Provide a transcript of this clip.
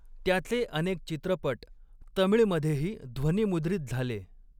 त्याचे अनेक चित्रपट तमिळमधेही ध्वनिमुद्रित झाले.